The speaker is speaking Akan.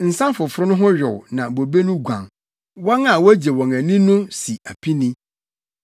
Nsa foforo no ho yow na bobe no guan; wɔn a wogye wɔn ani no si apini.